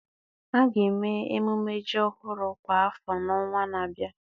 a ga-eme mmemme ji ọhụrụ kwa afọ n'ọnwa na-abịa.